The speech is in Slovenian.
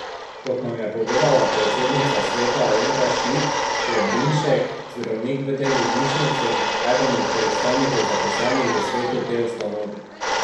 Kot nam je povedala predsednica sveta Alenka Šik, je Brinšek, zdravnik v tej bolnišnici, eden od predstavnikov zaposlenih v svetu te ustanove.